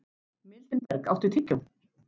Mildinberg, áttu tyggjó?